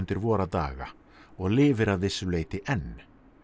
vora daga og lifir að vissu leyti enn